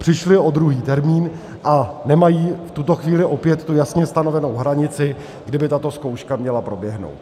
Přišli o druhý termín a nemají v tuto chvíli opět jasně stanovenou hranici, kdy by tato zkouška měla proběhnout.